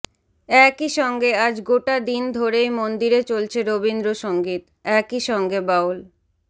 একেই সঙ্গে আজ গোটা দিন ধরেই মন্দিরে চলছে রবিন্দ্র সঙ্গীত একেই সঙ্গে বাউল